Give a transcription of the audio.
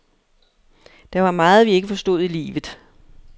Der var meget, vi ikke forstod i livet.